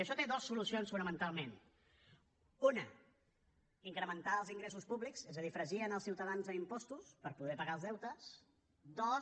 i això té dues solucions fonamentalment una incrementar els ingressos públics és a dir fregir els ciutadans a impostos per poder pagar els deutes dos